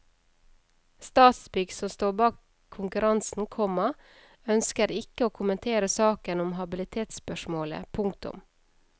Statsbygg som står bak konkurransen, komma ønsker ikke å kommentere saken om habilitetsspørsmålet. punktum